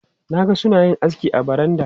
Na ga suna yin aski a baranda.